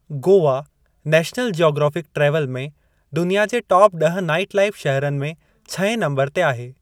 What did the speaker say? Goa National Geographic travel में दुनिया जे टाप ड्ह नाईट लाईफ़ शहरनि में छहें नम्बरु ते आहे ।